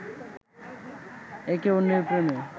একে অন্যের প্রেমে